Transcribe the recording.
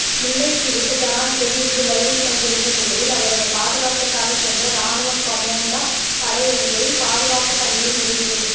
முல்லைத்தீவுக்கு ஜனாதிபதி இன்று வருகை தந்திருந்த நிலையில் அவரது பாதுகாப்பிற்காக சென்ற இராணுவ கோமாண்டோ படையணியே பாதுகாப்பு பணியை நிறைவு